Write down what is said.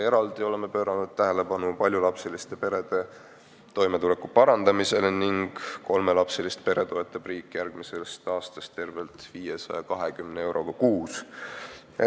Eraldi oleme pööranud tähelepanu paljulapseliste perede toimetuleku parandamisele, kolmelapselist peret toetab riik järgmisest aastast tervelt 520 euroga kuus.